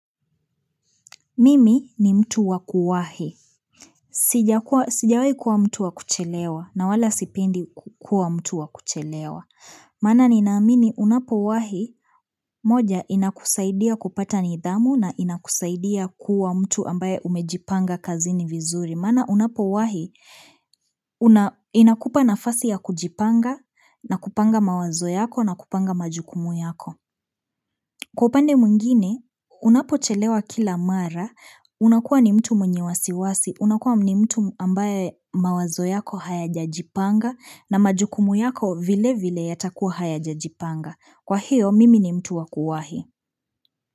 Mimi ni mtu wakuwahi. Sijawai kuwa mtu wakuchelewa na wala sipendi kuwa mtu wakuchelewa. Maana ninaamini unapowahi moja inakusaidia kupata nidhamu na inakusaidia kuwa mtu ambaye umejipanga kazini vizuri. Maana unapowahi inakupa nafasi ya kujipanga na kupanga mawazo yako na kupanga majukumu yako. Kwa upande mwingine, unapochelewa kila mara, unakuwa ni mtu mwenye wasiwasi, unakuwa ni mtu ambaye mawazo yako hayajajipanga na majukumu yako vile vile yatakuwa hayajajipanga. Kwa hiyo, mimi ni mtu wakuwahi.